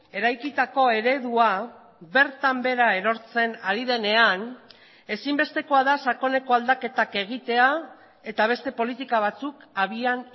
eraikitako eredua bertan behera erortzen ari denean ezinbestekoa da sakoneko aldaketak egitea eta beste politika batzuk abian